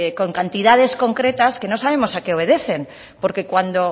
con cantidades concretas que no sabemos a qué obedecen porque cuando